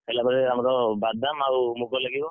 ହେଲା ପରେ ଆମର, ବାଦାମ ଆଉ ମୁଗ ଲାଗିବ।